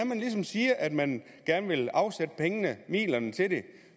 man ligesom siger at man gerne vil afsætte pengene midlerne til det